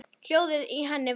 Hljóðið í henni vakti mig.